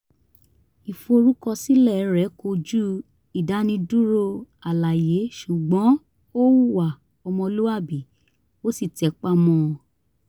ìforúkọsílẹ̀ rẹ̀ kojú ìdánidúró àlàyé ṣùgbọ́n ó hùwà ọmọlúwàbí ó sì tẹpa mọ́ ọn